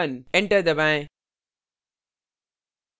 enter दबाएँ